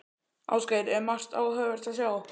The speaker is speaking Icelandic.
Ásgeir, er margt áhugavert að sjá?